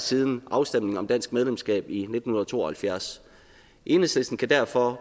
siden afstemningen om dansk medlemskab i nitten to og halvfjerds enhedslisten kan derfor